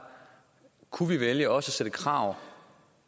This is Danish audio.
kunne vi vælge også at stille krav